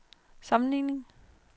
sammenligning